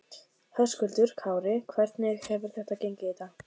Höskuldur Kári: Hvernig hefur þetta gengið í dag?